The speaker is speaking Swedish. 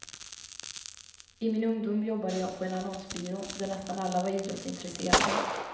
I min ungdom jobbade jag på en annonsbyrå där nästan alla var idrottsintresserade.